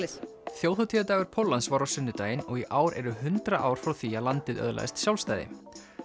þjóðhátíðardagur Póllands var á sunnudaginn og í ár eru hundrað ár frá því að landið öðlaðist sjálfstæði